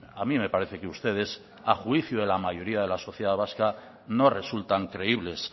a mí me parece que ustedes a juicio de la mayoría de la sociedad vasca no resultan creíbles